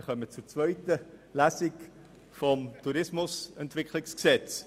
Wir kommen zur zweiten Lesung des Tourismusentwicklungsgesetzes.